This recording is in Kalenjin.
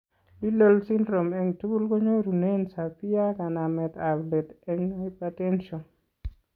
Liddle syndrome eng' tugul konyorunen severe, kanamet ab let eng' hypertension